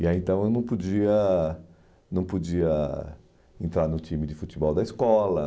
E aí, então, eu não podia não podia entrar no time de futebol da escola.